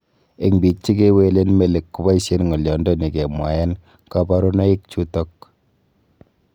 En biik chekewelen melik, kiboisien ng'olyondoni kemwaen koborunoikchuton.